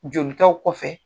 Jolikaw kɔfɛ.